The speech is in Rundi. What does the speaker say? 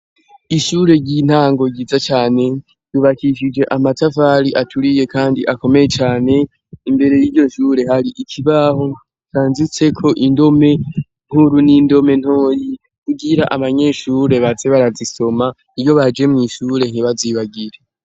Ishure ry'intango ryiza cane yubakishije amatafali aturiye, kandi akomeye cane imbere y'iryo nshure hari ikibaho canzitseko indome nkuru n'indomentoyi ugira abanyeshure batsebe arazisoma iryo baje mw'ishure ntibazibagire.